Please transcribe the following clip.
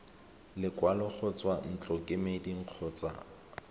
lekwalo go tswa ntlokemeding kgotsa